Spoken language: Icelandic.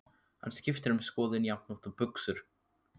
Hann skiptir um skoðun jafnoft og buxur.